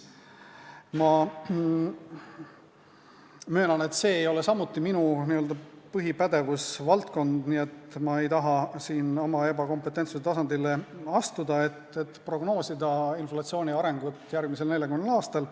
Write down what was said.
Ma möönan, et seegi ei ole minu n-ö põhipädevusvaldkond, nii et ma ei taha siin oma ebakompetentsuse tasandile astuda, et prognoosida inflatsiooni arengut järgmisel 40 aastal.